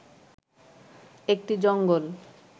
একটি জঙ্গল